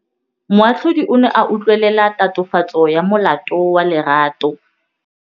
Moatlhodi o ne a utlwelela tatofatsô ya molato wa Lerato.